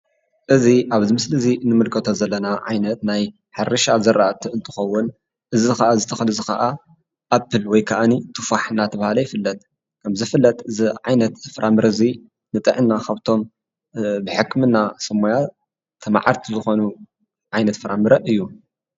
እዚ ኣብዚ ምስሊ እዚ ንምልከቶ ዘለና ዓይነት ናይ ሕርሻ ዘራእቲ እንትኸዉን እዚ ከዓ እዚ ተኽሊ እዚ ከዓ ኣፕል ወይ ከኣኒ ቱፋሕ እናተብሃለ ይፍለጥ። ከምዝፍለጥ እዚ ዓይነት ፍረምረ እዚ ንጥዕና ካብቶም ብሕክምና ሰብ ሞያ ተመዓድቲ ዝኾኑ ዓይነት ፍረምረ እዩ።